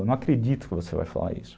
Eu não acredito que você vai falar isso.